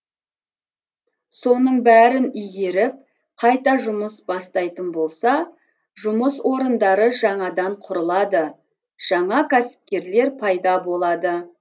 соның бәрін игеріп қайта жұмыс бастайтын болса жұмыс орындары жаңадан құрылады жаңа кәсіпкерлер пайда болады